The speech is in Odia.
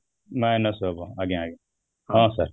ନାଇଁ ନାଇଁ sir ଆଜ୍ଞା ଆଜ୍ଞା ହଁ sir